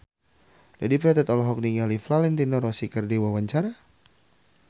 Dedi Petet olohok ningali Valentino Rossi keur diwawancara